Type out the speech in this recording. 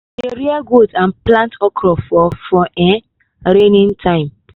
we dey rear goat and plant okro for for um rainy time.